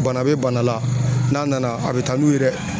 Bana be bana la, n'a nana a be taa n'u ye dɛ.